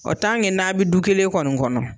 Ɔ tankɛ n'a bi du kelen kɔni kɔnɔ